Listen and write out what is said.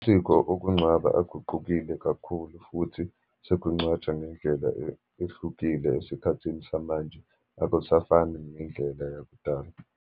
Isiko okungcwaba aguqukile kakhulu, futhi sekungcwatshwa ngendlela ehlukile esikhathini samanje, akusafani ngendlela yakudala.